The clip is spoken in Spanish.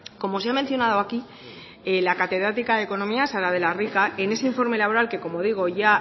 como se ha mencionado aquí la catedrática de economía sara de la rica en ese informe laboral que como digo ya